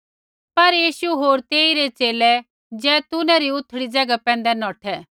पर यीशु होर तेइरै च़ेले जैतूनै री उथड़ी ज़ैगा पैंधै नौठै